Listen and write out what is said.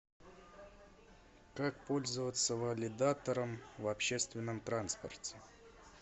как пользоваться валидатором в общественном транспорте